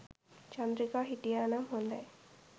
චන්ද්‍රිකා හිටියා නම් හොඳයි